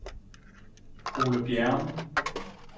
Ole Bjerrum